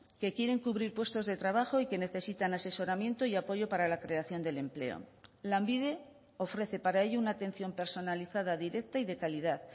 que quieren cubrir puestos de trabajo y que necesitan asesoramiento y apoyo para la creación del empleo lanbide ofrece para ello una atención personalizada directa y de calidad